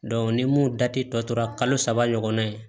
ni mun dati tɔ tora kalo saba ɲɔgɔnna ye